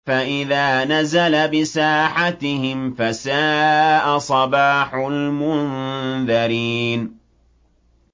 فَإِذَا نَزَلَ بِسَاحَتِهِمْ فَسَاءَ صَبَاحُ الْمُنذَرِينَ